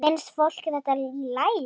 Finnst fólki þetta í lagi?